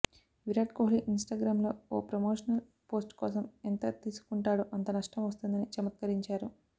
Virat Kohli Instagram లో ఓ promotional post కోసం ఎంత తీసుకుంటాడో అంత నష్టం వస్తుందని చమత్కరించారు